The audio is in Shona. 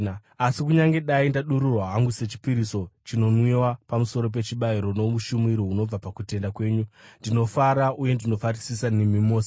Asi kunyange dai ndadururwa hangu sechipiriso chinonwiwa pamusoro pechibayiro noushumiri hunobva pakutenda kwenyu, ndinofara uye ndinofarisisa nemi mose.